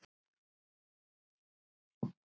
Hvernig líst þér á það